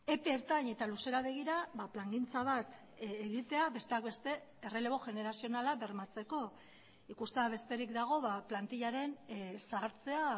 epe ertain eta luzera begira plangintza bat egitea besteak beste errelebo generazionala bermatzeko ikustea besterik dago plantillaren zahartzea